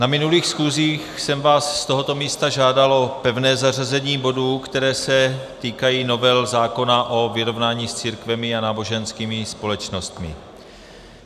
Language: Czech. Na minulých schůzích jsem vás z tohoto místa žádal o pevné zařazení bodů, které se týkají novel zákona o vyrovnání s církvemi a náboženskými společnostmi.